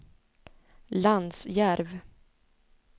Lansjärv